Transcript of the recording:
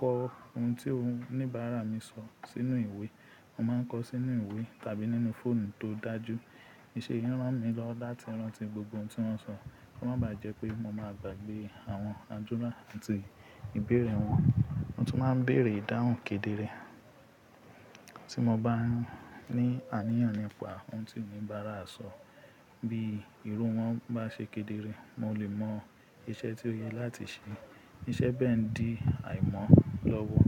kọ ohun tí oníbàárà mi sọ sínú ìwé. Mo máa ń kọ sínú ìwé tàbí nínú fóònù tó dájú. Iṣẹ́ yìí ran mi lọ́wọ́ láti rántí gbogbo ohun tí wọ́n sọ, kó má bàá jẹ́ pé mo máa gbàgbé àwọn àdúrà àti ìbéèrè wọn. Mo tún máa ń béèrè dáhùn kedere. Tí mo bá ní àníyàn nípa ohun tí oníbàárà sọ, bí irú wọn bá ṣe kedere, mo lè mọ iṣẹ́ tí ó yẹ láti ṣe. Iṣẹ́ bẹ́ẹ̀ ń di àìmọ́ lọ́wọ́